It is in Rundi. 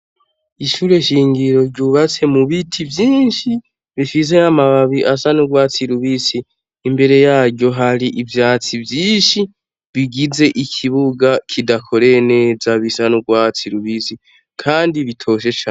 Ishure shingiro ryubatse mu biti vyinshi bifise amababi asa n'urwatsi rubisi. Imbere yaryo hari ivyatsi vyinshi bigize ikibuga kidakoreye neza bisa n'urwatsi rubisi kandi bitoshe cane.